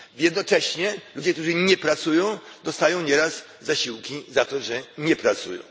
Jednocześnie ludzie, którzy nie pracują, dostają nieraz zasiłki za to, że nie pracują.